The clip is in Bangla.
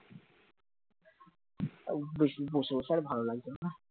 তাও বেশি, বেশি আসা আর ভালো লাগছে না